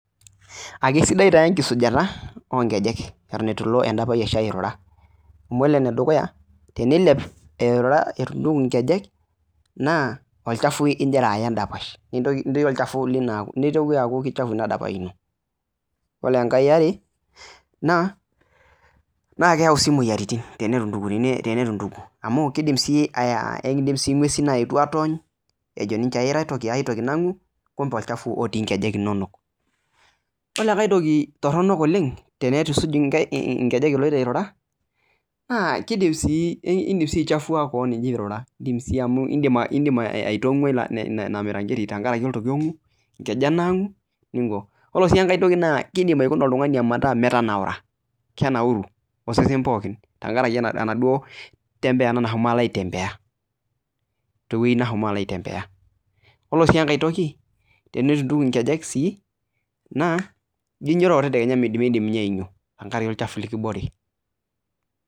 Ekesidai taa enkisujata oo nkejek eton eitu ilo endapash airura, amu kore ene dukuya, tenilep airura eitu intuku inkejek, naa olchafu igira aya endapash, nitoki aaku keichafu ina dapash ino. Kore engai eare, naa keyau sii imoyiaritin tenitu intuku amu keidim sii ngwesin aetu aatony' ejo ninche aira ai toki tenikiwony' kumbe olchafu otii nkejek inonok. Kore ai toki toronok tenitu isuj nkejek iloito airura, iindim sii aichafua kewon ino ilo airura amu indim aitangue ina miranketi tenkaraki nkejek naangu. Kore sii ai toki naa kiidim aikuna oltung'ani metanaurai, metaa kenauru osesen pooki tenkaraki enaduoo kutembea nashomo aitembea. Kore sii engai toki tenitu intuku inkejek naa ijo ainyototo tadekenya miindim ninye ainyo, tenkaraki olchafu likibore nkejek.